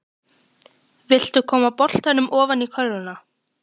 Vill koma boltanum ofan í körfuna.